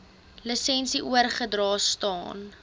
lisensie oorgedra staan